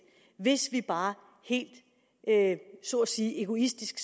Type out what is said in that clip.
hvis vi bare helt så at sige egoistisk